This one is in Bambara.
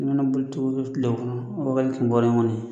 N mana boli cogo o cogo tile kɔnɔ wa kelen ni wɔɔrɔ kɔni